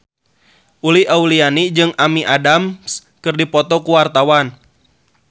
Uli Auliani jeung Amy Adams keur dipoto ku wartawan